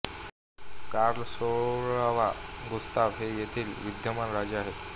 Carl सोळावा Gustaf हे येथील विद्यमान राजे आहेत